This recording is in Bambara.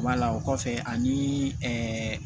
Wala o kɔfɛ aniii ɛɛ